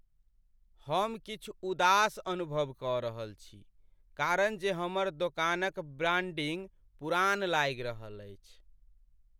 हम किछु उदास अनुभव कऽ रहल छी कारण जे हमर दोकानक ब्रांडिंग पुरान लागि रहल अछि।